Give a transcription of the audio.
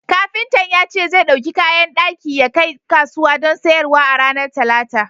Kafintan ya ce zai ɗauki kayan daki yakai kasuwa don sayarwa a ranar Talata.